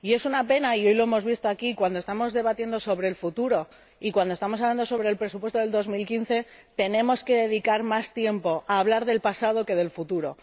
Y es una pena y hoy lo hemos visto aquí cuando estamos debatiendo sobre el futuro y cuando estamos hablando sobre el presupuesto de 2015, tenemos que dedicar más tiempo a hablar del pasado que del futuro.